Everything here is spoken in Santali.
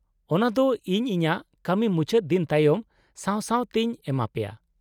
-ᱚᱱᱟᱫᱚ ᱤᱧ ᱤᱧᱟᱹᱜ ᱠᱟᱹᱢᱤ ᱢᱩᱪᱟᱹᱫ ᱫᱤᱱ ᱛᱟᱭᱚᱢ ᱥᱟᱶ ᱥᱟᱶ ᱛᱮᱧ ᱮᱢᱟ ᱯᱮᱭᱟ ᱾